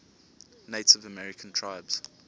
native american tribes